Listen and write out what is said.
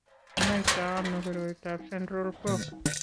Kinoito ano koroitoab Central Core?